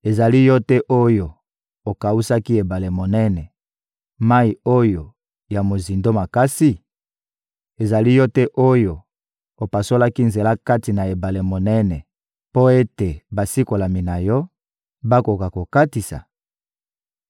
Ezali Yo te oyo okawusaki ebale monene, mayi oyo ya mozindo makasi? Ezali Yo te oyo opasolaki nzela kati na ebale monene mpo ete basikolami na Yo bakoka kokatisa?